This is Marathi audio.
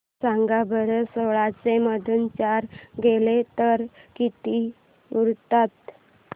सांगा बरं सोळाशे मधून चार गेले तर किती उरतात